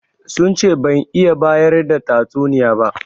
Sun ce ban iya bayar da tatsuniya ba.